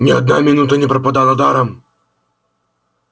ни одна минута не пропала даром